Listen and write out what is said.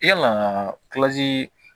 Yala